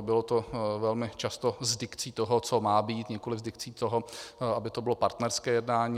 bylo to velmi často s dikcí toho, co má být, nikoliv s dikcí toho, aby to bylo partnerské jednání.